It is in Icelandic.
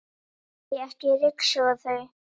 Nei, ekki ryksuga þau.